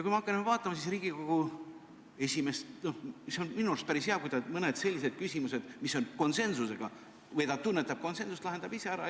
Kui vaadata, siis on minu meelest päris hea, kui Riigikogu esimees mõned sellised küsimused, mille puhul ta tunnetab konsensust, lahendab ise ära.